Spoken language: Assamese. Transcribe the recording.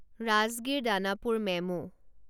ৰাজগিৰ দানাপুৰ মেমো